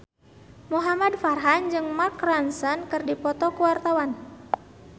Muhamad Farhan jeung Mark Ronson keur dipoto ku wartawan